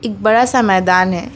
एक बड़ा सा मैदान है।